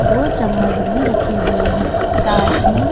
दो चम्मच भी रखे हुए हैं साथ ही--